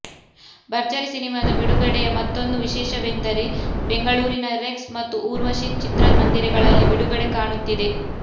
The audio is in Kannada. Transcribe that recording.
ಭರ್ಜರಿ ಸಿನಿಮಾ ಬಿಡುಗಡೆಯ ಮತ್ತೋಂದು ವಿಶೇಷವೆಂದರೆ ಬೆಂಗಳೂರಿನ ರೆಕ್ಸ್ ಮತ್ತು ಊರ್ವಶಿ ಚಿತ್ರ ಮಂದಿರಗಳಲ್ಲಿ ಬಿಡುಗಡೆ ಕಾಣುತ್ತಿದೆ